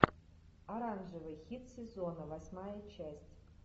оранжевый хит сезона восьмая часть